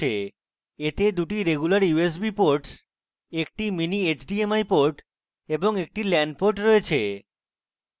এতে দুটি regular usb ports একটি mini hdmi ports একটি lan ports রয়েছে